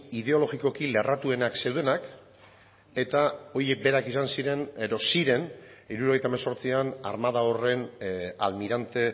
ideologikoki lerratuenak zeudenak eta horiek berak izan ziren edo ziren hirurogeita hemezortzian armada horren almirante